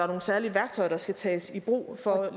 nogle særlige værktøjer der skal tages i brug for at